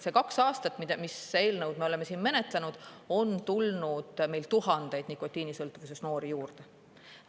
See kaks aastat, mis eelnõu me oleme siin menetlenud, on tulnud meil tuhandeid nikotiinisõltuvuses noori juurde.